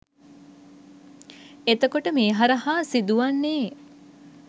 එතකොට මේ හරහා සිදු වන්නේ